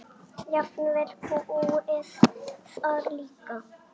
Jafnvel búið þar líka.